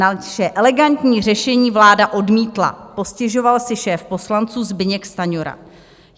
Naše elegantní řešení vláda odmítla," postěžoval si šéf poslanců Zbyněk Stanjura.